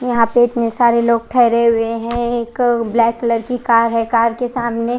यहाँ पर इतने सारे लोग ठहरे हुए है एक ब्लैक कलर की कार है कार के सामने--